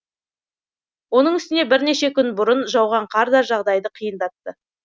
оның үстіне бірнеше күн бұрын жауған қар да жағдайды қиындатты